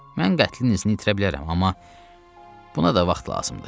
Mən qətlin izini itirə bilərəm, amma buna da vaxt lazımdır.